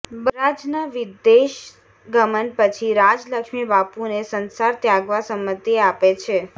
બલરાજના વિદેશ ગમન પછી રાજલક્ષ્મી બાપુને સંસાર ત્યાગવા સંમતિ આપે છે